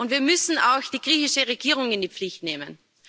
Wir müssen auch die griechische Regierung in die Pflicht nehmen.